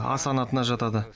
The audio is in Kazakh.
а санатына жатады